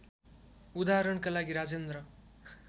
उदाहरणका लागि राजेन्द्र